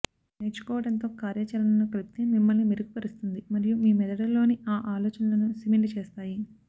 నేర్చుకోవడంతో కార్యాచరణను కలిపితే మిమ్మల్ని మెరుగుపరుస్తుంది మరియు మీ మెదడులోని ఆ ఆలోచనలను సిమెంట్ చేస్తాయి